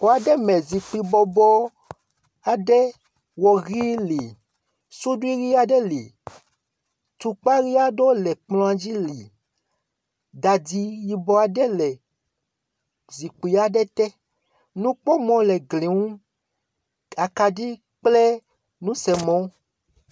Xɔ aɖe me zikpui bɔbɔ aɖe wɔ ʋi li. Suɖi ʋi aɖe li. Tukpa ʋi aɖewo le kplɔ̃a dzi li. Dadi yibɔ aɖe le zikpui aɖe te. Nukpɔmɔ le gli ŋu, akaɖi kple nusemɔ.